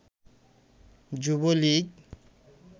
Jubo League